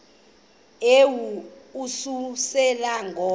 yehu ukususela ngo